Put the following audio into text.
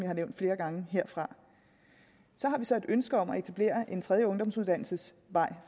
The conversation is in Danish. har nævnt flere gange herfra så har vi så et ønske om at etablere en tredje ungdomsuddannelsesvej